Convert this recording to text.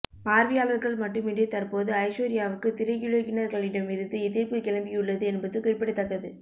பார்வையாளர்கள் மட்டுமின்றி தற்போது ஐஸ்வர்யாவுக்கு திரையுலகினர்களிடம் இருந்து எதிர்ப்பு கிளம்பியுள்ளது என்பது குறிப்பிடத்தக்கது